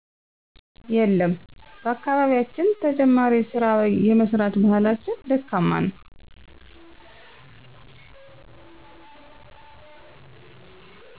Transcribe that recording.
የለም በአካባቢያችን ተጨማሪ ስራ የመስራት ባህላችን ደካማ ነው